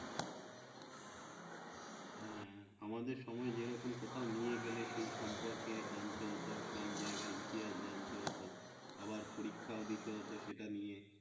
আমাদের সময় যেরকম কোথাও নিয়ে গেলে সেই সম্পর্কে জানতে হতো সেই জায়গায় গিয়ে জানতে হতো, আবার পরীক্ষাও দিতে হতো সেটা নিয়ে